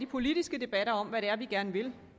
politiske debat om hvad vi gerne vil